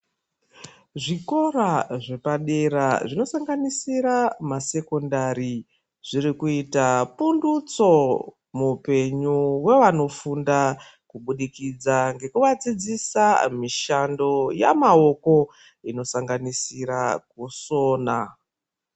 Zvikora zvepadera zvinosangisa masekondari zvirikuita pundutso muupenyu hwevanofunda kubudikidza ngekuvadzidzisa mishando yemaoko inosanganisira kusona.